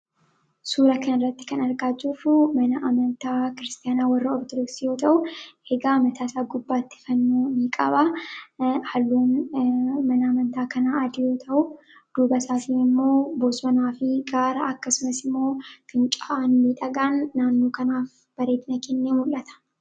suura kan irratti kan argaacuuru mana amantaa kiristaanaa warra ortorooksiyoo ta'u eegaa amataasaa gubbaatti fannuu ni qaba halluun mana amantaa kanaa adiyoo ta'u duuba isaafii immoo bosnaa fi gaara akkasumas immoo kinca'anmi dhagaan naannuu kanaaf bareedna kenne mul'ata